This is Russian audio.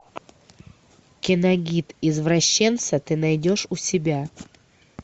киногид извращенца ты найдешь у себя